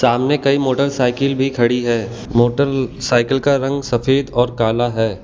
सामने कई मोटरसाइकिल भी खड़ी है मोटरसाइकिल का रंग सफेद और काला है।